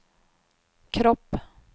kropp